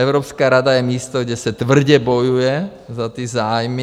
Evropská rada je místo, kde se tvrdě bojuje za ty zájmy.